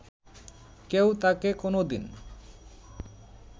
কেউ তাকে কোনদিন